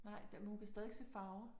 Nej det men hun kan stadigvæk se farver